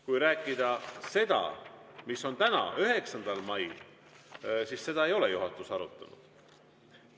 Kui rääkida sellest, mis on siin täna, 9. mail, siis seda ei ole juhatus arutanud.